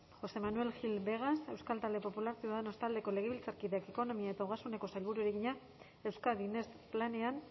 josé manuel gil vegas euskal talde popular ciudadanos taldeko legebiltzarkideak ekonomia eta ogasuneko sailburuari egina euskadi next planean